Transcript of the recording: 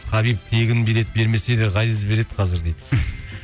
хабиб тегін билет бермесе де ғазиз береді қазір дейді